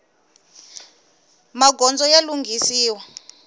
magondzo ya lunghisiwa